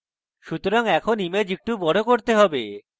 সুতরাং এখন image একটু বড় করতে হবে